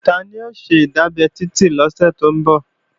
Tani ó ṣe ìdábẹ́ Titi lọ́sẹ̀ tó ń bọ̀?